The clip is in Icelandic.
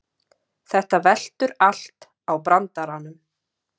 Þetta veltur allt á brandaranum